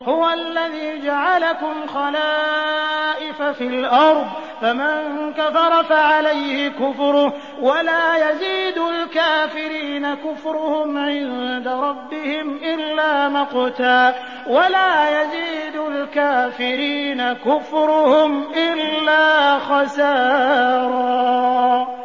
هُوَ الَّذِي جَعَلَكُمْ خَلَائِفَ فِي الْأَرْضِ ۚ فَمَن كَفَرَ فَعَلَيْهِ كُفْرُهُ ۖ وَلَا يَزِيدُ الْكَافِرِينَ كُفْرُهُمْ عِندَ رَبِّهِمْ إِلَّا مَقْتًا ۖ وَلَا يَزِيدُ الْكَافِرِينَ كُفْرُهُمْ إِلَّا خَسَارًا